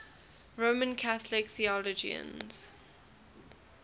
roman catholic theologians